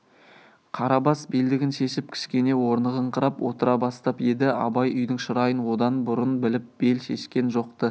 қарабас белдігін шешіп кішкене орнығыңқырап отыра бастап еді абай үйдің шырайын одан бұрын біліп бел шешкен жоқ-ты